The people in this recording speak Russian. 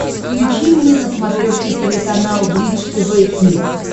включи мне на смотрешке телеканал бридж тв хитс